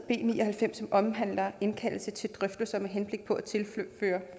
ni og halvfems som omhandler en indkaldelse til drøftelser med henblik på at tilføre